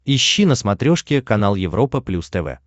ищи на смотрешке канал европа плюс тв